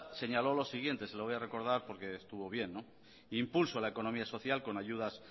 señaló lo siguiente se lo voy a recordar porque estuvo bien impulso de la económica social con ayudas